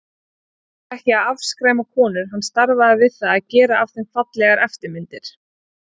Hann var ekki að afskræma konur, hann starfaði við að gera af þeim fallegar eftirmyndir.